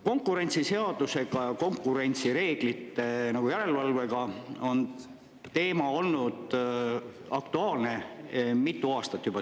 Konkurentsiseaduse ja konkurentsireeglite järelevalve teema on olnud Eestis aktuaalne juba mitu aastat.